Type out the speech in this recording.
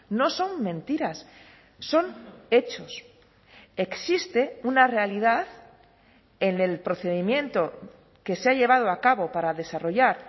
no son mentiras son hechos existe una realidad en el procedimiento que se ha llevado a cabo para desarrollar